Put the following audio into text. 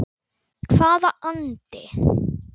Hvaða andi?